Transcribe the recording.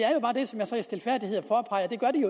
gør de